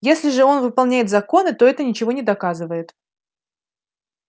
если же он выполняет законы то это ничего не доказывает